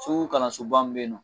Segu kalansoba min bɛ yen nɔ